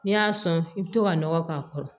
N'i y'a sɔn i bɛ to ka nɔgɔ k'a kɔrɔ